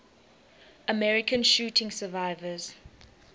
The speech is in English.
american shooting survivors